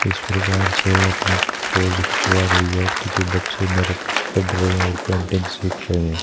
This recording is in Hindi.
इस प्रकार से अपनी पोज खिंचवा रही है ताकि बच्चे मेरे पास पढ़ रहे हैं और पेंटिंग सीख रहे हैं।